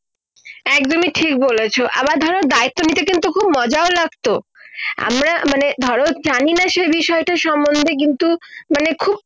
একদমই ঠিক বলেছো আবার ধরো দায়িত্ব নিতে খুব মজাও লাগতো আমরা মানে ধরো জানি না সে বিষয়টার সম্বন্ধে কিন্তু মানে খুব